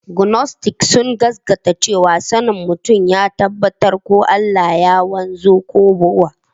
Gnostics sun gaskata cewa sanin mutum ya tabbata ko Allah ya wanzu ko babu.